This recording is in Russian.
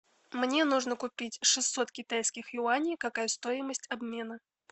мне нужно купить шестьсот китайских юаней какая стоимость обмена